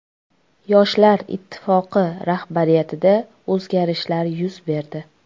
Yoshlar Ittifoqi rahbariyatida o‘zgarishlar yuz berdi.